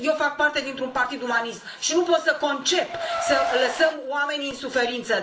Eu fac parte dintr un partid umanist și nu pot să concep să lăsăm oamenii în suferință.